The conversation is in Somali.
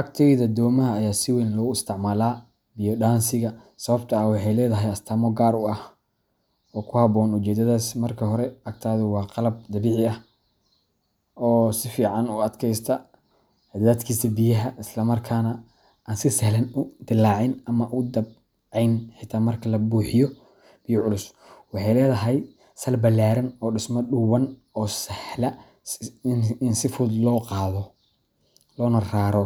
Agteyda domaha ayaa si weyn loogu isticmaalaa biyo dhaansiga sababtoo ah waxay leedahay astaamo gaar ah oo ku habboon ujeedadaas. Marka hore, agatadu waa qalab dabiici ah oo si fiican u adkaysata cadaadiska biyaha, isla markaana aan si sahlan u dillaacin ama u dabcayn xitaa marka la buuxiyo biyo culus. Waxay leedahay sal ballaaran iyo dhisme dhuuban oo sahla in si fudud loo qaado, loona raro,